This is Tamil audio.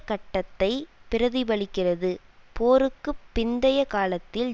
கட்டத்தை பிரதிபலிக்கிறது போருக்கு பிந்தைய காலத்தில்